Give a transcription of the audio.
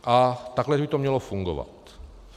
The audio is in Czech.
A takhle by to mělo fungovat.